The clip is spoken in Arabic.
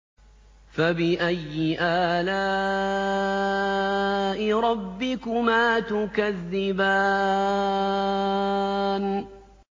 فَبِأَيِّ آلَاءِ رَبِّكُمَا تُكَذِّبَانِ